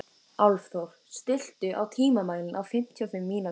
Álfþór, stilltu tímamælinn á fimmtíu og fimm mínútur.